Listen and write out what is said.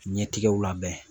Ɲɛtigɛw labɛn.